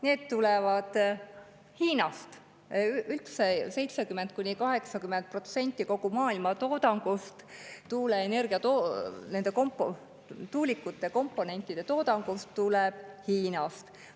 Need tulevad Hiinast, üldse 70–80% kogu maailma tuulikute komponentide toodangust tuleb Hiinast.